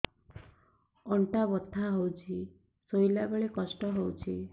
ଅଣ୍ଟା ବଥା ହଉଛି ଶୋଇଲା ବେଳେ କଷ୍ଟ ହଉଛି